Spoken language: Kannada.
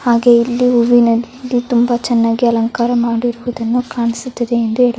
ಹಾಗೆ ಇಲ್ಲಿ ಹೂವಿನಲ್ಲಿ ತುಂಬಾ ಚೆನ್ನಾಗಿ ಅಲಂಕಾರ ಮಾಡಿರುವುದನ್ನು ಕಾಣಿಸುತ್ತದೆ ಎಂದು ಹೆಳ --